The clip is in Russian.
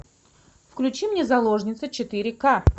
включи мне заложница четыре ка